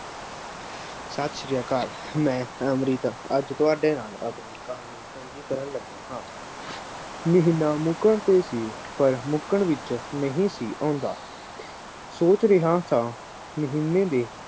ਸਤਿ ਸ੍ਰੀ ਅਕਾਲ, ਮੈਂ ਰਮਰੀਤ, ਅੱਜ ਤੁਹਾਡੇ ਨਾਲ ਆਪਣੀ ਕਹਾਣੀ ਸਾਂਝੀ ਕਰਨ ਲੱਗਾ ਹਾਂ, ਮਹੀਨਾ ਮੁਕਣ ਤੇ ਸੀ। ਪਰ ਮੁਕਣ ਵਿੱਚ ਨਹੀਂ ਸੀ ਆਉਂਦਾ, ਸੋਚ ਰਿਹਾਂ ਸਾਂ, ਮਹੀਂਨੇ ਦੇ,